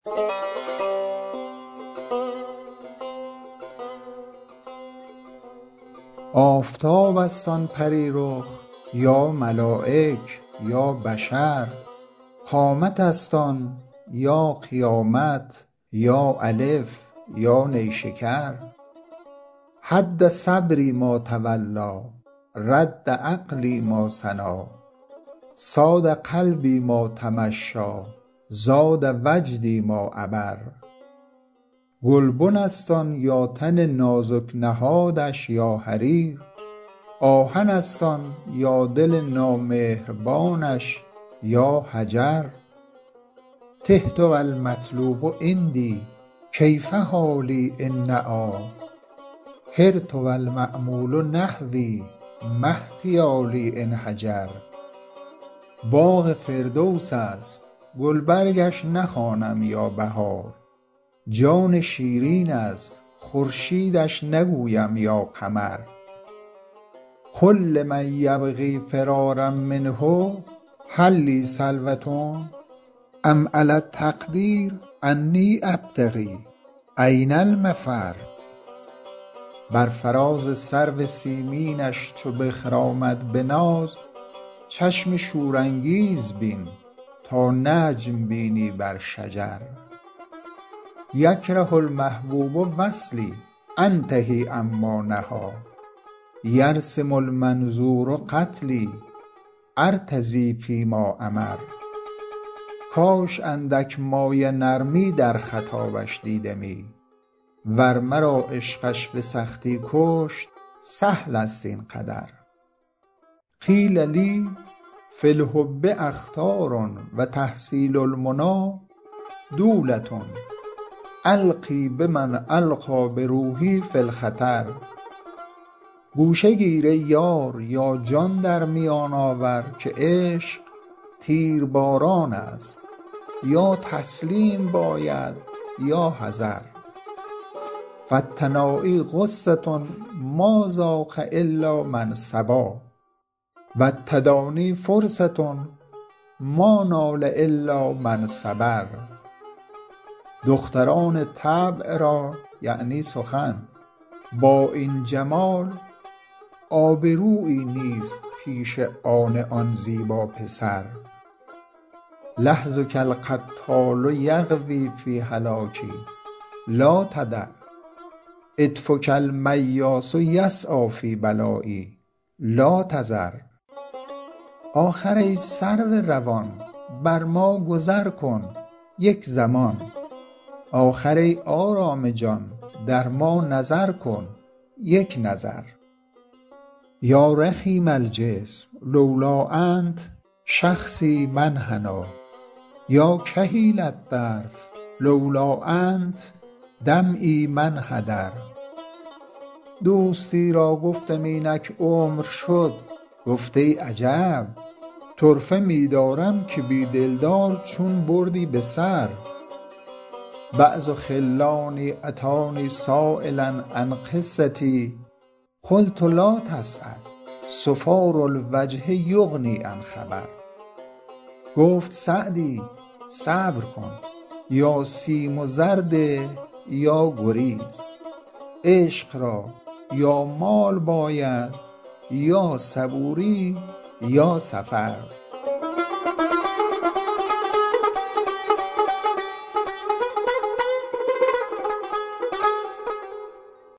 آفتاب است آن پری رخ یا ملایک یا بشر قامت است آن یا قیامت یا الف یا نیشکر هد صبری ما تولیٰ رد عقلی ما ثنیٰ صاد قلبی ما تمشیٰ زاد وجدی ما عبر گلبن است آن یا تن نازک نهادش یا حریر آهن است آن یا دل نامهربانش یا حجر تهت و المطلوب عندی کیف حالی إن نأیٰ حرت و المأمول نحوی ما احتیالی إن هجر باغ فردوس است گلبرگش نخوانم یا بهار جان شیرین است خورشیدش نگویم یا قمر قل لمن یبغی فرارا منه هل لی سلوة أم علی التقدیر أنی أبتغي أین المفر بر فراز سرو سیمینش چو بخرامد به ناز چشم شورانگیز بین تا نجم بینی بر شجر یکره المحبوب وصلی أنتهي عما نهیٰ یرسم المنظور قتلی أرتضی فی ما أمر کاش اندک مایه نرمی در خطابش دیدمی ور مرا عشقش به سختی کشت سهل است این قدر قیل لی فی الحب أخطار و تحصیل المنیٰ دولة ألقی بمن ألقیٰ بروحی فی الخطر گوشه گیر ای یار یا جان در میان آور که عشق تیرباران است یا تسلیم باید یا حذر فالتنایی غصة ما ذاق إلا من صبا و التدانی فرصة ما نال إلا من صبر دختران طبع را یعنی سخن با این جمال آبرویی نیست پیش آن آن زیبا پسر لحظک القتال یغوی فی هلاکی لا تدع عطفک المیاس یسعیٰ فی بلایی لا تذر آخر ای سرو روان بر ما گذر کن یک زمان آخر ای آرام جان در ما نظر کن یک نظر یا رخیم الجسم لولا أنت شخصی ما انحنیٰ یا کحیل الطرف لولا أنت دمعی ما انحدر دوستی را گفتم اینک عمر شد گفت ای عجب طرفه می دارم که بی دلدار چون بردی به سر بعض خلانی أتانی سایلا عن قصتی قلت لا تسأل صفار الوجه یغنی عن خبر گفت سعدی صبر کن یا سیم و زر ده یا گریز عشق را یا مال باید یا صبوری یا سفر